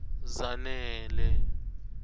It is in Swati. zanele